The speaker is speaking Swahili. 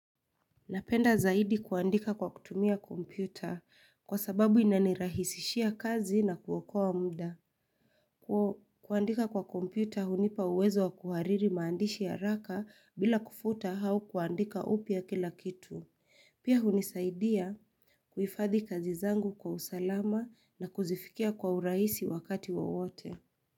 Napenda zaidi kuandika kwa kutumia kompyuta kwa sababu inanirahisishia kazi na kuokoa mda. Kuandika kwa kompyuta hunipa uwezo wa kuhariri maandishi haraka bila kufuta hau kuandika upya kila kitu. Pia hunisaidia kuhifadhi kazi zangu kwa usalama na kuzifikia kwa urahisi wakati wa wote.